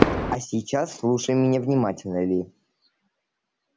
а сейчас слушай меня внимательно ли